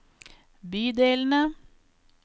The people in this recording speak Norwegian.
bydelene